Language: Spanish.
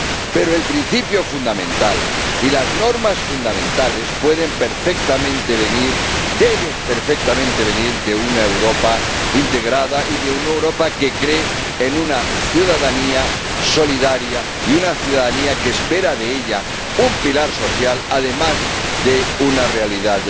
Pero el principio fundamental y las normas fundamentales pueden perfectamente venir, deben perfectamente venir de una Europa integrada y de una Europa que cree en una ciudadanía solidaria y una ciudadanía que espera de ella un pilar social, además de una realidad